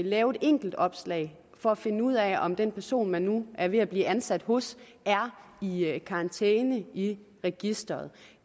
lave et enkeltopslag for at finde ud af om den person man nu er ved at blive ansat hos er i i karantæne i registreret